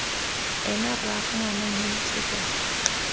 ena rraagwe ngwana mme ditlhokego